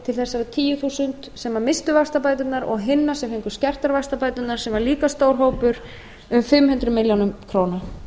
til þessara tíu þúsund sem misstu vaxtabæturnar og hinna sem fengu skertar vaxtabætur sem var líka stór hópur um fimm hundruð milljóna króna